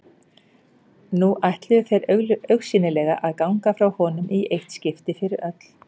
Nú ætluðu þeir augsýnilega að ganga frá honum í eitt skipti fyrir öll.